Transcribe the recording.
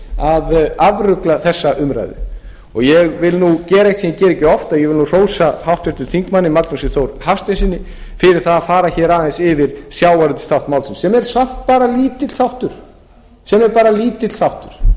að afrugla þessa umræðu ég vil nú gera eitt sem ég geri ekki oft ég vil nú hrósa háttvirtum þingmanni magnúsi þór hafsteinssyni fyrir það að fara hér aðeins yfir sjávarútvegsþátt málsins sem er samt bara lítill þáttur en